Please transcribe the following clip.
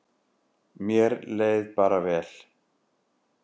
Mér leið bara vel.